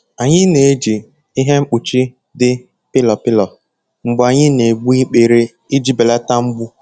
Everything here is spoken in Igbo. Anyị na-eji ihe nkpuchi dị pịlọ pịlọ mgbe anyị na-egbu ikpere iji belata mgbu.